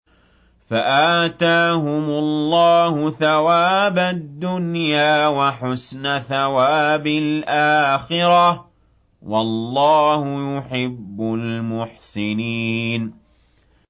فَآتَاهُمُ اللَّهُ ثَوَابَ الدُّنْيَا وَحُسْنَ ثَوَابِ الْآخِرَةِ ۗ وَاللَّهُ يُحِبُّ الْمُحْسِنِينَ